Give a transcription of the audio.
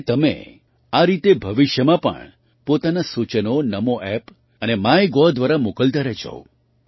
મને તમે આ રીતે ભવિષ્યમાં પણ પોતાનાં સૂચનો નામો App અને માયગોવ દ્વારા મોકલતાં રહેજો